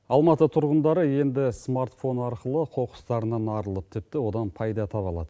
алматы тұрғындары енді смартфон арқылы қоқыстарынан арылып тіпті одан пайда таба алады